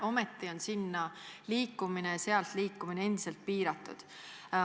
Ometi on sinna liikumine ja sealt ära liikumine endiselt piiratud.